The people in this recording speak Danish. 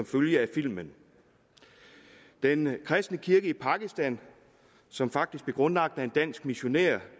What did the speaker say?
følge af filmen den kristne kirke i pakistan som faktisk blev grundlagt af en dansk missionær